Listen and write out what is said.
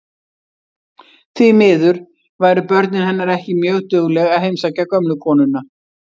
Því miður væru börnin hennar ekki mjög dugleg að heimsækja gömlu konuna.